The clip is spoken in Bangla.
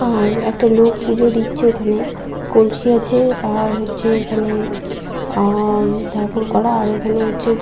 আর একটা লোক পুজো দিচ্ছে ওখানে। কলসি আছে আর হচ্ছে এখানে আ-আ ঠাকুর করা আর এইখানে হচ্ছে--